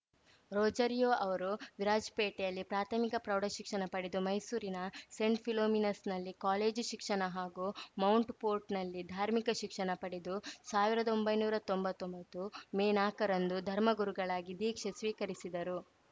ರೊಜಾರಿಯೋ ಅವರು ವಿರಾಜಪೇಟೆಯಲ್ಲೇ ಪ್ರಾಥಮಿಕ ಪ್ರೌಢಶಿಕ್ಷಣ ಪಡೆದು ಮೈಸೂರಿನ ಸೇಂಟ್‌ ಫಿಲೋಮಿನಾಸ್‌ನಲ್ಲಿ ಕಾಲೇಜು ಶಿಕ್ಷಣ ಹಾಗೂ ಮೌಂಟ್‌ ಪೋರ್ಟ್‌ನಲ್ಲಿ ಧಾರ್ಮಿಕ ಶಿಕ್ಷಣ ಪಡೆದು ಸಾವ್ರ್ದೊಂಬೈನೂರಾ ತೊಂಬತ್ತೊಂಬತ್ತು ಮೇ ನಾಕರಂದು ಧರ್ಮಗುರುಗಳಾಗಿ ದೀಕ್ಷೆ ಸ್ವೀಕರಿಸಿದರು